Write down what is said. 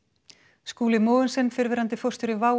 Skúli Mogensen fyrrverandi forstjóri WOW